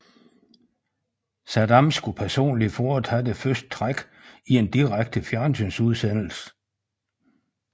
Saddam skulle personligt foretage det første træk i en direkte fjernsynsudsendelse